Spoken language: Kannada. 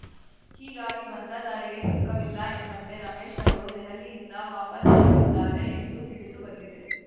ಹೀಗಾಗಿ ಬಂದ ದಾರಿಗೆ ಸುಂಕವಿಲ್ಲ ಎಂಬಂತೆ ರಮೇಶ್‌ ಅವರು ದೆಹಲಿಯಿಂದ ವಾಪಸಾಗಿದ್ದಾರೆ ಎಂದು ತಿಳಿದು ಬಂದಿದೆ